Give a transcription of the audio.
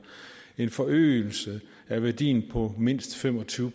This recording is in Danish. en forøgelse af værdien på mindst fem og tyve